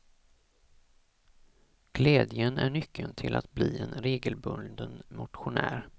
Glädjen är nyckeln till att bli en regelbunden motionär.